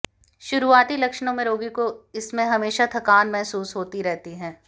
शुरुआती लक्षणों में रोगी को इसमें हमेशा थकान महसूस होती रहती है